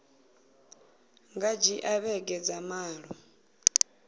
nga dzhia vhege dza malo